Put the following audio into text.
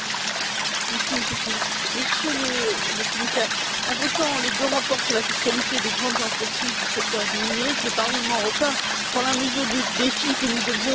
Monsieur le Président, Monsieur le Commissaire, en votant les deux rapports sur la fiscalité des grandes entreprises du secteur du numérique, le Parlement européen prend la mesure du défi que nous devons relever.